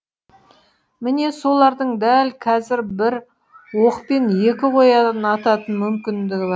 міне солардың дәл қазір бір оқпен екі қоян ататын мүмкіндігі